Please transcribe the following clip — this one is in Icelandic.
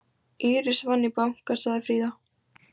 Íris vann í banka, sagði Fríða.